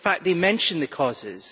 In fact they mention the causes.